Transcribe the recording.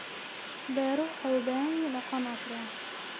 Beeruhu waxay u baahan yihiin aqoon casri ah.